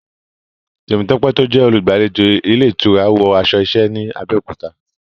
Temitope tó jẹ́ olùgbàlejò ilé ìtura, wọ aṣọ iṣẹ́ ní Abẹ́òkúta.